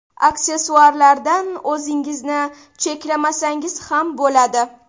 Aksessuarlardan o‘zingizni cheklamasangiz ham bo‘ladi.